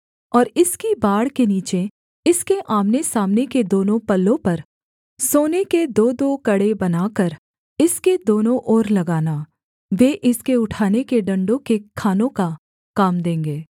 और इसकी बाड़ के नीचे इसके आमनेसामने के दोनों पल्लों पर सोने के दोदो कड़े बनाकर इसके दोनों ओर लगाना वे इसके उठाने के डण्डों के खानों का काम देंगे